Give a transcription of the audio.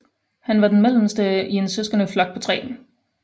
Han var den mellemste i en søskendeflok på tre